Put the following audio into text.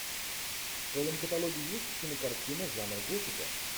в твоем каталоге есть кинокартина жанр готика